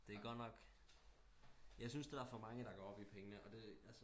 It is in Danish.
Det er godt nok jeg syntes der er for mange der går op i pengene